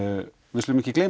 við skulum ekki gleyma